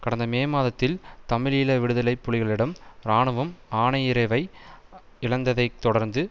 கடந்த மே மாதத்தில் தமிழீழ விடுதலை புலிகளிடம் இராணுவம் ஆனையிறவை இழந்ததைத் தொடர்ந்து